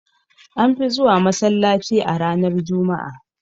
An fi zuwa masallaci a ranar juma'a